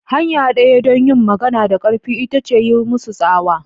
Hanya ɗaya don yin magana da ƙarfi ita ce yi musu tsawa.